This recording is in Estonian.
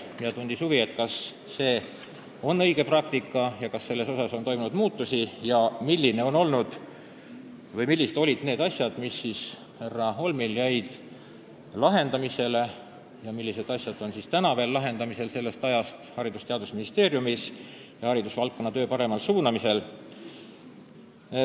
Arto Aas tundis huvi, kas see on õige praktika ja kas selles on toimunud mingeid muutusi ning milliste asjade lahendamine jäi härra Holmil pooleli, millega veel praegugi Haridus- ja Teadusministeeriumis tegeldakse haridusvaldkonna paremaks suunamiseks.